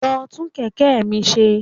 Lọ tún kẹ̀kẹ́ mi ṣe.